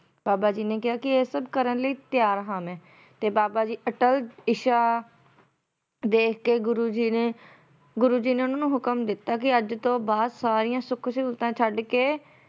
ਬਾਬਾ ਜੀ ਨੇ ਕਿਹਾ ਇਹ ਸਭ ਕਰਨ ਲਈ ਤਿਆਰ ਹਾਂ ਮੈਂ ਤੇ ਬਾਬਾ ਜੀ ਅੱਟਲ ਇੱਛਾ ਦੇਖਕੇ ਗੁਰੂ ਜੀ ਨੇ ਗੁਰੂ ਜੀ ਨੇ ਉਹਨਾਂ ਨੂੰ ਹੁਕਮ ਦਿੱਤਾ ਕੇ ਅੱਜ ਤੋਂ ਬਾਅਦ ਸਾਰੀਆਂ ਸੁੱਖ ਸਹੂਲਤਾਂ ਛੱਡਕੇ